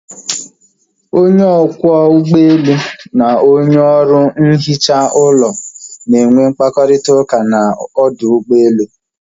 Onye ọkwọ ụgbọelu na onye ọrụ nhicha ụlọ na enwe mkparịta ụka na ọdụ ụgbọelu